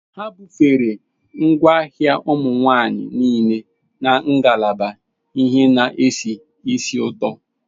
Ha bufere ngwaahịa ụmụ nwanyị niile na ngalaba ihe na-esi ísì ụtọ.